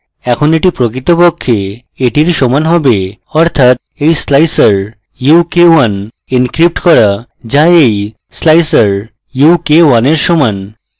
এখন এটি প্রকৃতপক্ষে এটির সমান হবে অর্থাৎ এই slicer u k 1 encrypted করা so এই slicer u k 1 এর সমান